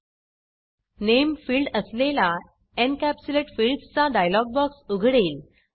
नामे field असलेला encapsulate fields encapsulate fields चा dialog box उघडेल